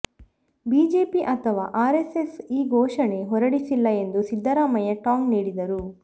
BJP ಅಥವಾ RSS ಈ ಘೋಷಣೆ ಹೊರಡಿಸಿಲ್ಲ ಎಂದು ಸಿದ್ದರಾಮಯ್ಯ ಟಾಂಗ್ ನೀಡಿದರು